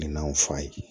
Minɛnw f'a ye